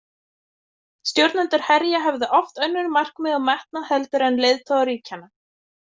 Stjórnendur herja höfðu oft önnur markmið og metnað heldur en leiðtogar ríkjanna.